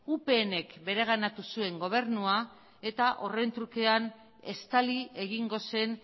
upnk bereganatu zuen gobernua eta horren trukean estali egingo zen